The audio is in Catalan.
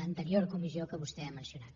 l’anterior comissió que vostè ha mencionat